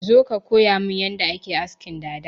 Zo ka koyamin yadda ake askin dada!